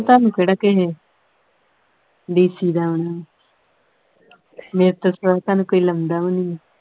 ਤੁਹਾਨੂੰ ਕਿਹੜਾ ਕਿਹੇ DC ਦਾ ਆਉਣਾ ਮੇਰੇ ਤੋਂ ਸਿਵਾ ਤੁਹਾਨੂੰ ਕੋਈ ਲਉਂਦਾ ਵੀ ਨਹੀਂ।